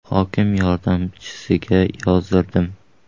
Hokim yordamchisiga yozdirdim.